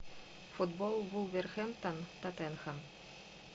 футбол вулверхэмптон тоттенхэм